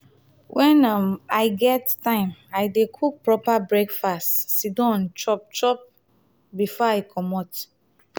wen um i get time i dey cook proper breakfast sit down chop chop um before i comot.